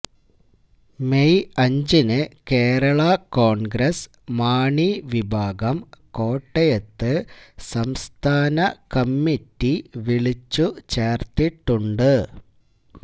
May അഞ്ചിന് Kerala Congress Mani വിഭാഗം കോട്ടയത്ത് സംസ്ഥാന കമ്മിറ്റി വിളിച്ചുചേര്ത്തിട്ടുണ്ട്